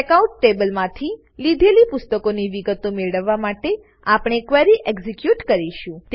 checkout ટેબલમાંથી લીધેલ પુસ્તકોની વિગતો મેળવવા માટે આપણે ક્વેરી એક્ઝીક્યુટ કરીશું